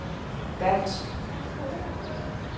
dansk